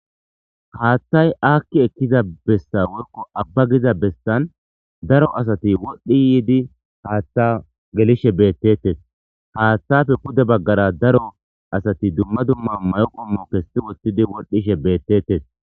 Haaththay aakki ekkiza bessa worko abba giza bessan daro asati wodhdhi yiidi haattha gelishe bettettes haaththafe kude baggara daro asati dumma dumma mayoqomo kessi wothtidi wodhishe beettetes.